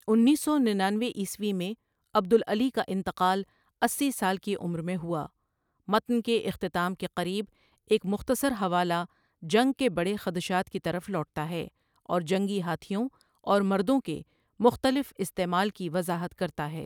انیس سوننانوے عیسوی میں عبدالعلی کا انتقال اسی سال کی عمر میں ہوا متن کے اختتام کے قریب ایک مختصر حوالہ جنگ کے بڑے خدشات کی طرف لوٹتا ہے اور جنگی ہاتھیوں اور مردوں کے مختلف استعمال کی وضاحت کرتا ہے۔